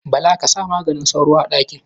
Bala ka sa maganin sauro a ɗakin?